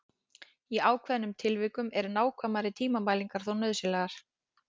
Í ákveðnum tilvikum eru nákvæmari tímamælingar þó nauðsynlegar.